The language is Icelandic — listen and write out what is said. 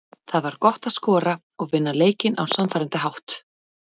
Það var gott að skora og vinna leikinn á sannfærandi hátt.